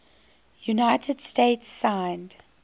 united states signed